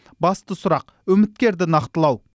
басты сұрақ үміткерді нақтылау